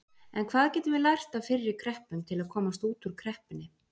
En hvað getum við lært af fyrri kreppum til að komast út úr kreppunni?